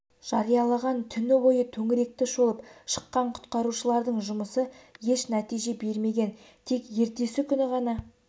жариялаған түні бойы төңіректі шолып шыққан құтқарушылардың жұмысы еш нәтиже бермеген тек ертесі күні ғана